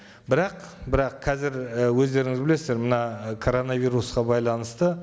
бірақ бірақ қазір і өздеріңіз білесіздер мына коронавирусқа байланысты